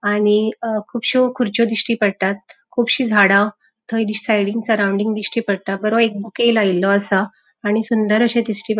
आणि अ कूबशो खुरच्यो दिष्टि पड़तात कूबशी झाड़ा थय सायडींन सराउन्डिंग दिष्टि पड़ता बरो एक बुके लायलो असा आणि सुंदर अशे दिष्टी --